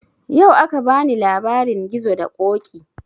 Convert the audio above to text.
Yau aka bani labarin gizo da ƙoƙi